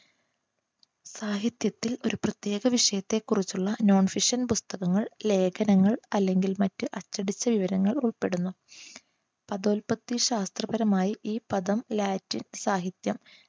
സാഹിത്യത്തിൽ ഒരു പ്രത്യേക വിഷയത്തെക്കുറിച്ചുളള non fiction പുസ്തകങ്ങൾ ലേഖനങ്ങൾ അല്ലെങ്കിൽ മറ്റ് അച്ചടിച്ച വിവരങ്ങൾ ഉൾപ്പെടുന്നു. പ്രത്യയശാസ്ത്രപരമായി ഈ പദം ലാറ്റിൻ സാഹിത്യം